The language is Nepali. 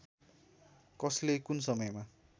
कसले कुन समयमा